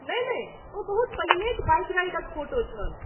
नहि नहि, ओ बहुत पहिनेक बाइक राइडक फोटो छल।